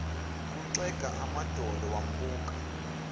kuxega amadolo wambuka